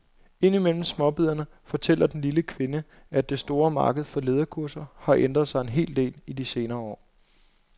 Ind imellem småbidderne fortæller den lille kvinde, at det store marked for lederkurser har ændret sig en hel del i de senere år.